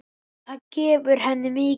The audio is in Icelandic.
Það gefur henni mikið.